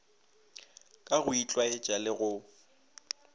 ka go itlwaetša le go